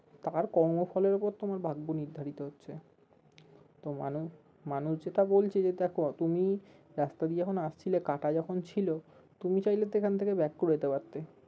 তার কর্মফলের ওপর তোমার ভাগ্য নির্ধারিত হচ্ছে তো মানু~মানুষ যেটা বলছে যে দেখো তুমি রাস্তা দিয়ে যখন আসছিলে কাটা যখন ছিল তুমি চাইলে সেখান থেকে back করে যেতে পারতে